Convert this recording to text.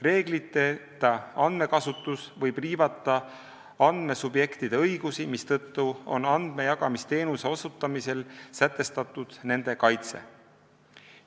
Reegliteta andmekasutus võib riivata andmesubjektide õigusi, mistõttu on andmejagamisteenuse osutamisel sätestatud nende kaitse.